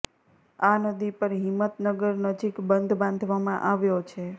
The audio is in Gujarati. આ નદી પર હિંમતનગર નજીક બંધ બાંધવામાં આવ્યો છે